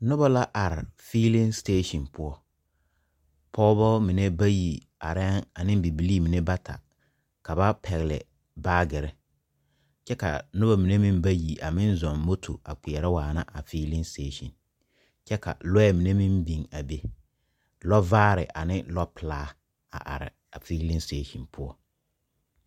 Noba la are feeleŋ setasen poɔ. Pɔgebɔ mine bayi arɛɛ aneŋ bibilee mine bata ka ba pɛgele baagere. Kyɛ kaa noba mine bayi a meŋ zɔŋ moto a meŋ kpeɛrɛ waana a feeleŋ setasen. Kyɛ ka lɔɛ mine meŋ biŋ a be. Lɔvaare ane lɔpelaa a are a feeleŋ setasen poɔ.